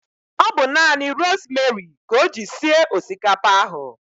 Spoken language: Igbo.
Ọ bu nanị rosmeri ka o ji sie osikapa ahụ